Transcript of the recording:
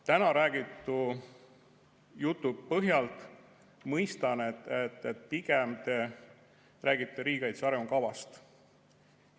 Täna räägitud jutu põhjal mõistan, et pigem te räägite riigikaitse arengukavast.